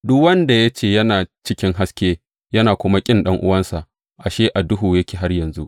Duk wanda ya ce yana cikin haske yana kuma ƙin ɗan’uwansa, ashe a duhu yake har yanzu.